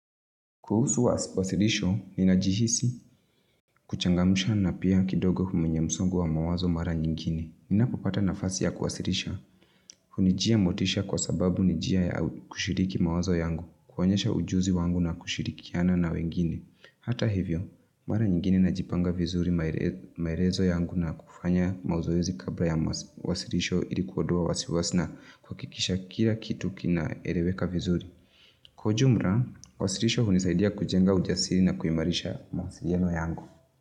Kuhusu wasi wasilisho, ninajihisi kuchangamusha na pia kidogo mwenye msongo wa mawazo mara nyingine. Ninapopata nafasi ya kuwasilisha. Hunijia motisha kwa sababu ni njia ya kushiriki mawazo yangu. Konyesha ujuzi wangu na kushirikiana na wengine. Hata hivyo, mara nyingine najipanga vizuri maerezo yangu na kufanya mazoezi kabra ya wasirisho. Ili kuodoa wasiwasi na kuakikisha kira kitu kinaereweka vizuri. Kwa ujumra, wasirisho hunisaidia kujenga ujasiri na kuimarisha mawasiriano yangu.